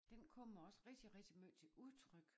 Den kommer også rigtig rigtig måj til udtryk